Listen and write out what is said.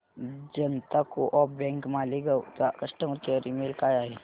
जनता co op bank Malegaon चा customer care email काय आहे